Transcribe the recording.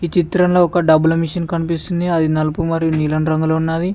ఈ చిత్రంలో ఒక డబ్బుల మెషిన్ కనిపిస్తుంది అది నలుపు మరియు నీలం రంగులో ఉన్నది.